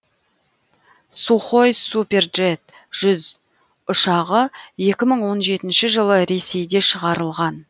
сухой суперджет жүз ұшағы екі мың он жетінші жылы ресейде шығарылған